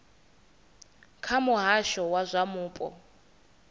kha muhasho wa zwa mupo